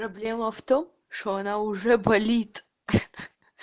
проблема в том что она уже болит ха-ха